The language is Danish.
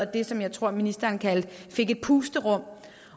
det som jeg tror ministeren kaldte et pusterum